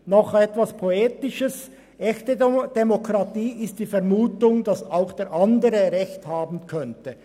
Nun noch etwas Poetisches: Echte Demokratie ist die Vermutung, dass auch der andere Recht haben könnte.